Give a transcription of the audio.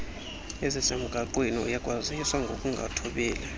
ezisemgaqweni uyakwaziswa ngokungathobeli